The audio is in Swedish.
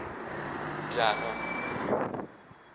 Bjärnum